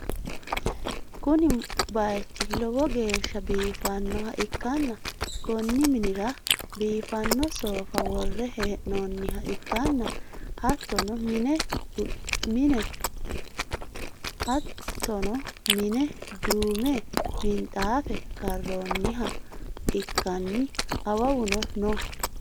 Kuni bayichi lowo geeshsha biifannoa ikkanna, konni minira biifanno soofa worre hee'noonniha ikkanna, hattono mine duume minxaafe karroonniho ka'anni awawuno no.